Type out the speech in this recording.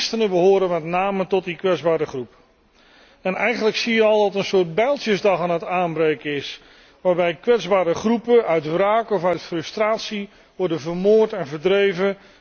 Christenen behoren met name tot die kwetsbare groep. Eigenlijk zie je al dat er een soort bijltjesdag aan het aanbreken is, waarbij kwetsbare groepen uit wraak of uit frustratie worden vermoord en verdreven.